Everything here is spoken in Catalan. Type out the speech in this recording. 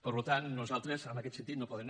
per tant nosaltres en aquest sentit no podem